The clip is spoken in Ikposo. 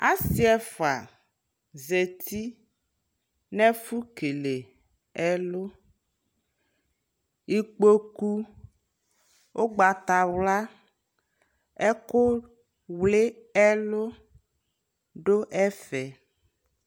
Asi ɛfua zati nɛfu kele ɛluIkpoku, ugbata wla, ɛku wli ɛlu du ɛfɛ